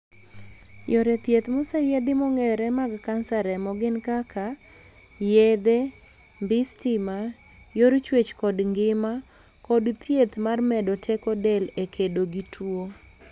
Yore thieth moseyiedhi mong'ere mag kansa remo gin kaka yedhe, mbii stima, yor chuech kod ngima, kod thieth mar medo teko del e kedo gi tuo.